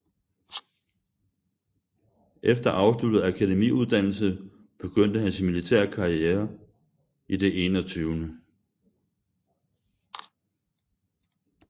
Efter afsluttet akademiuddannelse begyndte han sin militære karriere i det 21